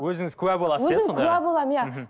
өзіңіз куә боласыз өзім куә боламын иә мхм